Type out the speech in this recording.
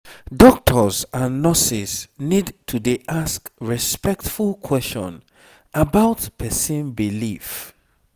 doctors and nurses need to dey ask respectful question about person belief.